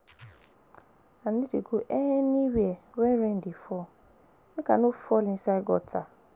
I no dey go anywhere wen rain dey fall, make I no fall inside gutter.